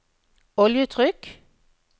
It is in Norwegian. oljetrykk